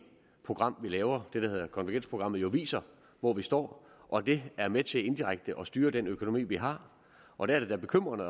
program vi laver det der hedder konvergensprogrammet jo viser hvor vi står og det er med til indirekte at styre den økonomi vi har og der er det da bekymrende